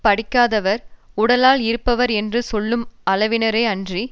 படிக்காதவர் உடலால் இருப்பவர் என்று சொல்லும் அளவினரே அன்றி